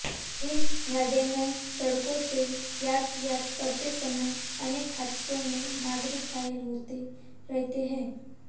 इन गड्ढामय सड़कों से यातायात करते समय अनेक हादसों में नागरिक घायल होते रहते हैं